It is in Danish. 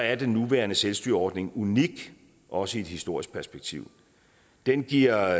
er den nuværende selvstyreordning unik også i et historisk perspektiv den giver